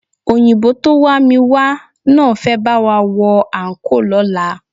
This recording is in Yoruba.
Òyìnbó tó wá mi wá náà fẹ́ bá wa wọ àńkò lọ́la